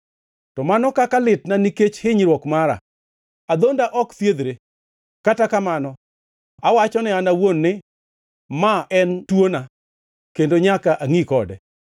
To mano kaka litna nikech hinyruok mara! Adhonda ok thiedhre! Kata kamano awacho ne an owuon ni, “Ma en twona, kendo nyaka angʼi kode.”